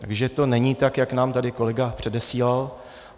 Takže to není tak, jak nám tady kolega předesílal.